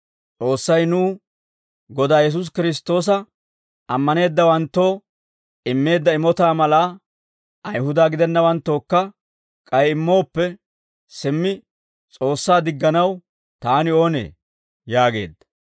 S'oossay nuw Godaa Yesuusi Kiristtoosa ammaneeddawanttoo immeedda imotaa malaa Ayihuda gidennawanttookka k'ay immooppe, simmi S'oossaa digganaw taani oonee?» yaageedda.